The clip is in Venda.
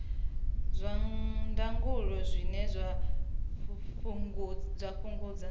zwa ndangulo zwine zwa fhungudza